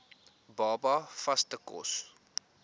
baba vaste kos